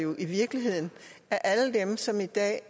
så